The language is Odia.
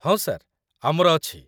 ହଁ ସାର୍, ଆମର ଅଛି।